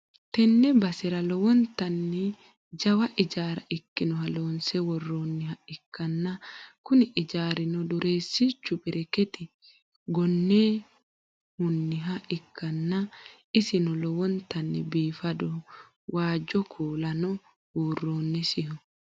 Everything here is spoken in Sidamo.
tenne basera lowontanni jawa ijaara ikkinoha loonse worroonniha ikkanna, kuni ijaarino dureessichu bereketi goonehunniha ikkanna, isino lowontanni biifadoho, waajjo kuulano buurronsiho.